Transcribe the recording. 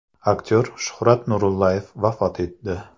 Aktyor Shuhrat Nuraliyev vafot etdi.